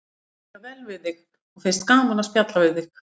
Því mér líkar vel við þig og finnst gaman að spjalla við þig.